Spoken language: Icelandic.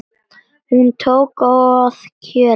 Hún tók að kjökra.